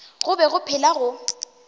go be go phela go